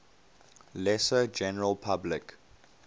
lesser general public